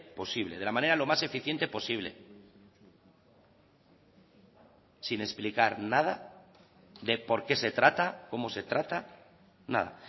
posible de la manera lo más eficiente posible sin explicar nada de por qué se trata cómo se trata nada